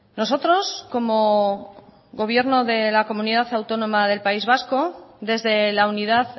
nosotros como gobierno de la comunidad autónoma del país vasco desde la unidad